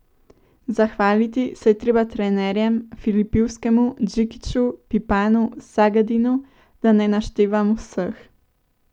Zahvaliti se je treba trenerjem, Filipovskemu, Džikiću, Pipanu, Sagadinu, da ne naštevam vseh.